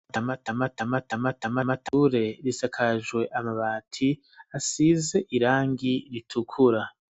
Mature, isakajwe amabati ,asize irangi ritukura.